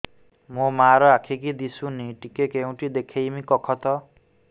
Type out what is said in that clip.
ମୋ ମା ର ଆଖି କି ଦିସୁନି ଟିକେ କେଉଁଠି ଦେଖେଇମି କଖତ